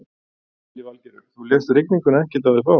Lillý Valgerður: Þú lést rigninguna ekkert á þig fá?